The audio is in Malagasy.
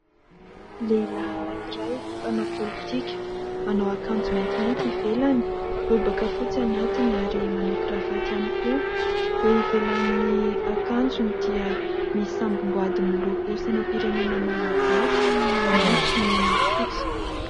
Lehilahy anankiray mpanao politika, manao akanjo maintimainty ivelany, lobaka fotsy anatiny ary manao kiravaty ihany koa, eo ivelan'ny akanjony dia misy samboady miloko sainampirenena Malagasy maitso, mena, fotsy.